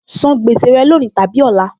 San gbèsè rẹ lónìí tàbí ọ̀la!